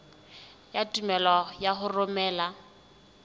ya tumello ya ho romela